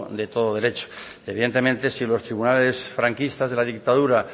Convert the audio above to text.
de todo derecho evidentemente si los tribunales franquistas de la dictadura